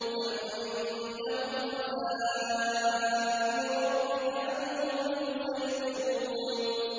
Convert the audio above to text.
أَمْ عِندَهُمْ خَزَائِنُ رَبِّكَ أَمْ هُمُ الْمُصَيْطِرُونَ